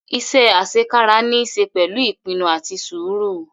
Ise asekara ni i se pẹlu ipinnu ati sũru